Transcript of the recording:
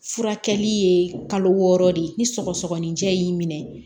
Furakɛli ye kalo wɔɔrɔ de ye ni sɔgɔsɔgɔnijɛ y'i minɛ